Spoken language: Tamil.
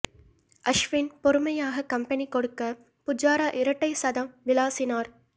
அஷ்வின் பொறுமையாக கம்பெனி கொடுக்க புஜாரா இரட்டை சதம் விளாசினார்